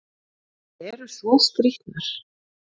Þær eru svo skrýtnar!